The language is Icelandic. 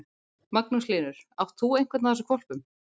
Magnús Hlynur: Átt þú einhvern af þessum hvolpum?